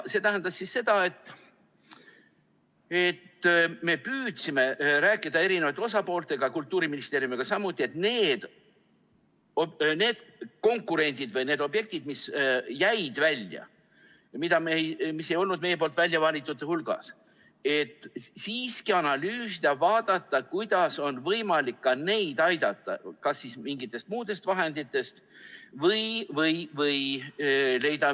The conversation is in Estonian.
See tähendab seda, et me püüdsime rääkida eri osapooltega, Kultuuriministeeriumiga samuti, et siiski analüüsida, vaadata, kuidas on võimalik neid objekte, mis jäid välja, mis ei olnud meie väljavalitute hulgas, aidata kas mingitest muudest vahenditest või leida neile finantseerija.